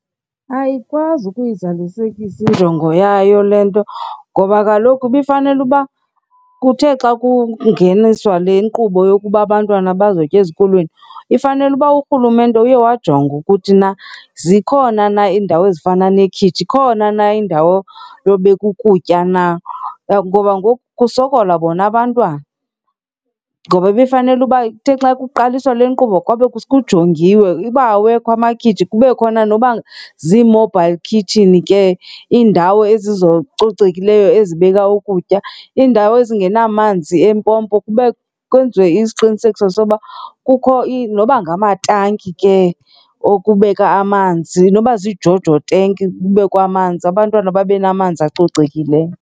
Ayikwazi ukuyizalisekisa injongo yayo le nto ngoba kaloku ibifanele uba kuthe xa kokungeniswa le nkqubo yokuba abantwana bazotya ezikolweni, ifanele uba urhulumente uye wajonga ukuthi na zikhona na iindawo ezifana nekhitshi, khona na indawo yobeka ukutya na. Ngoba ngoku kusokola bona abantwana ngoba ibifanele uba ithe xa kuqaliswa le nkqubo kwabe kujongiwe. Uba awekho amakhitshi kube khona noba zi-mobile kitchen ke, iindawo ezicocekileyo ezibeka ukutya, iindawo ezingenamanzi empompo. Kwenziwe isiqinisekiso soba kukho noba ngamatanki ke okubeka amanzi, noba ziiJojo tank kubekwe amanzi abantwana babe namanzi acocekileyo.